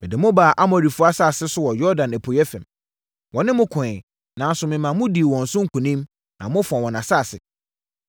“Mede mo baa Amorifoɔ asase so wɔ Yordan apueeɛ fam. Wɔne mo koeɛ, nanso memaa modii wɔn so nkonim na mofaa wɔn asase.